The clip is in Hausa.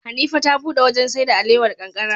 Hanifa ta buɗe wajan saida alewar kankara